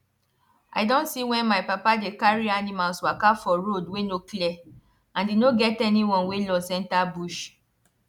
i don see when my papa dey carry animals waka for road wey no clear and e no get anyone wey lost enter bush